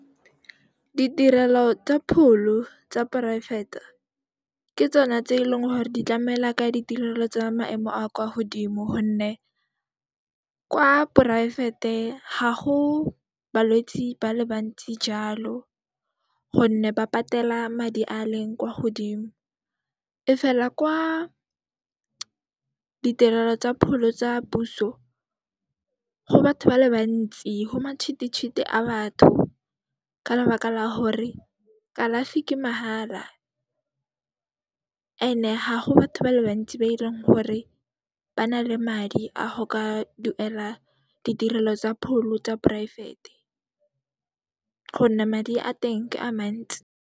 Ditirelo tsa pholo tsa poraefete, ke tsone tse eleng gore di tlamela ka ditirelo tsa maemo a kwa godimo gonne kwa poraefete ha go balwetsi ba le bantsi jaalo gonne ba patela madi a leng kwa godimo. E fela kwa ditirelo tsa pholo tsa puso, go batho ba le bantsi, ho matšhititšhiti a batho ka lebaka la hore kalafi ke mahala ene ha go batho ba le bantsi ba dirang gore ba na le madi a go ka duela ditirelo tsa pholo tsa poraefete gonne madi a teng ke a mantsi.